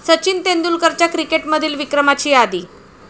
सचिन तेंडुलकरच्या क्रिकेटमधील विक्रमाची यादी